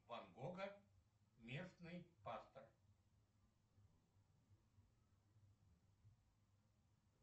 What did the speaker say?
ван гога местный пастор